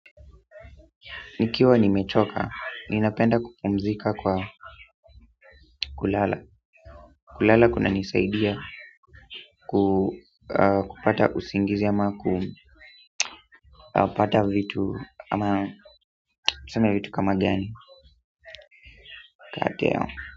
Nikiwa nimechoka ninapenda kupumzika kwa kulala kulala kuna nisaidia kupata usingizi ama kupata vitu ama niseme vitu kama gani ateo.